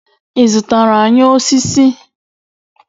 I zụtara anyị osisi?